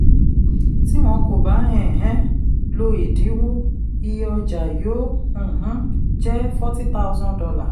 tí wọ́n kò bá um lo ìdínwó iye ọjà yóò um jẹ́ forty thousand dollar